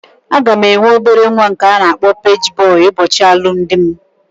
Aga m enwe obere nwa nke a na-akpọ paji bọy ụbọchị alụmdi mụ